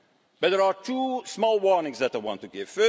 But there are two small warnings that I want to give.